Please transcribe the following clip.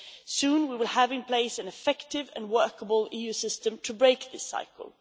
Soon we will have in place an effective and workable EU system to break this cycle